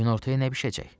Günortaya nə bişəcək?